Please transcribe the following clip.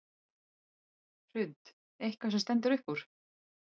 Hrund: Eitthvað sem stendur upp úr?